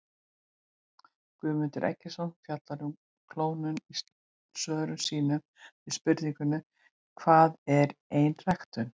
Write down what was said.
Guðmundur Eggertsson fjallar um klónun í svörum sínum við spurningunum Hvað er einræktun?